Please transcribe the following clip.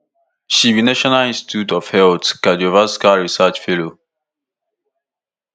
she be national institute of health cardiovascular research fellow